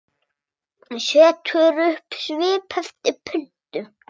Setur upp svip eftir pöntun.